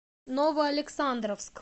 новоалександровск